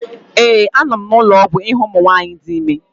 ee, a nọ m n'ụlọ ọgwụ ịhụ ụmụ nwanyị dị ime